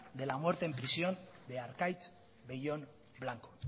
de la muerte en prisión de arkaitz bellón blanco